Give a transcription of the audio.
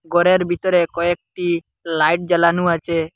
ঘরের ভিতরে কয়েকটি লাইট জ্বালানো আছে।